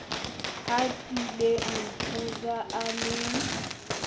habileng ho ja a le